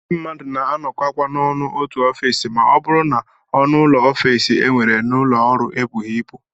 Ndị mmadụ na-anọkọkwa ọnụ n'otu ofiisi ma ọ bụrụ na ọnụụlọ ofiisi e nwere n'ụlọọrụ ebughị ibu